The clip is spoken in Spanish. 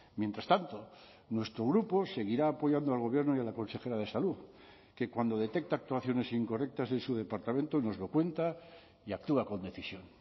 mientras tanto nuestro grupo seguirá apoyando al gobierno y a la consejera de salud que cuando detecta actuaciones incorrectas en su departamento nos lo cuenta y actúa con decisión